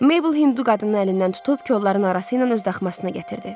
Maybel hündü qadının əlindən tutub kolların arası ilə öz daxmasına gətirdi.